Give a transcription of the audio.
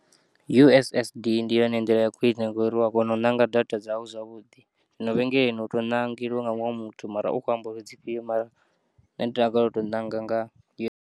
U_s_s_d ndi yone nḓila ya khwine, u ya kona u nanga data dzau zwavhuḓi, zwino vhengeleni u to nangeliwa nga muṅwe muthu mara u kho amba uri dzifhiyo mara nne ndi takalela u to nanga ngau.